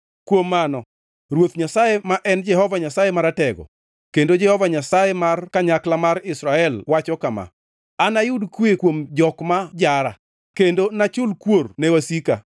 Kuom mano, Ruoth Nyasaye ma en Jehova Nyasaye Maratego, kendo Jehova Nyasaye mar kanyakla mar Israel wacho kama: “Anayud kwe kuom jok ma jara kendo nachul kuor ne wasika.